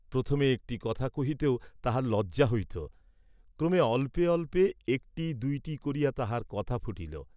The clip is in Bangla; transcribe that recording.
প্রথমে একটি কথা কহিতেও তাহার লজ্জা হইত, ক্রমে অল্পে অল্পে একটি দুইটি করিয়া তাহার কথা ফুটিল।